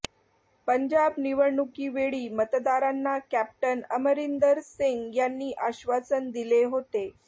पंजाब निवडणुकीवेळी मतदारांना कॅप्टन अमरिंदर सिंग यांनी आश्वासन दिले होते